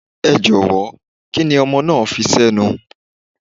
Ẹ jọ̀wọ́, kíni ọmọ náà fi sẹ́nu?